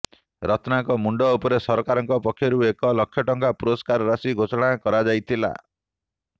ରତ୍ନା ଙ୍କ ମୁଣ୍ଡଉପରେ ସରକାରଙ୍କ ପକ୍ଷରୁ ଏକ ଲକ୍ଷଟଙ୍କାର ପୁରସ୍କାର ରାଶି ଘୋଷଣା କରାଯାଇଥିଲା